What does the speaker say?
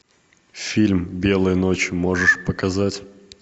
фильм белые ночи можешь показать